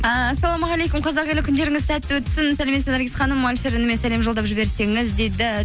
ііі ассалаумағалейкум қазақ елі күндеріңіз сәтті өтсін сәлеметсіз бе наргиз ханым әлішер ініме сәлем жолдап жіберсеңіз дейді